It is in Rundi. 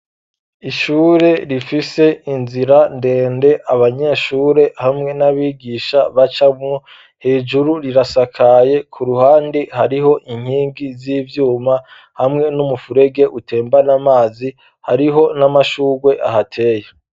Ishure rifise inzira ndende abanyeshure hamwe n'abigisha bacamwo hejuru rirasakaye ku ruhande hariho inkingi z'ivyuma hamwe n'umufurege utembana amazi hariho n'amashugwe ahateye.